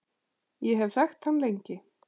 Ég hef þekkt hann lengi.